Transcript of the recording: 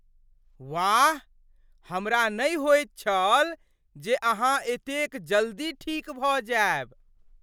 वाह! हमरा नहि होइत छल जे अहाँ एतेक जल्दी ठीक भऽ जायब।